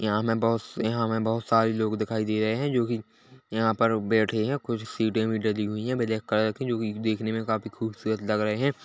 यहाँ हमें बहुत स यहाँ हमें बहुत सारे लोग दिखाई दे रहे हैं जो कि यहाँ पर बैठे हैं कुछ सीटें- विटे दी हुई है जो की देखने में काफी खूबसूरत लग रहे हैं।